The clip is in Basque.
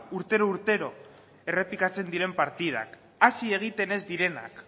urtero urtero errepikatzen diren partidak hasi egiten ez direnak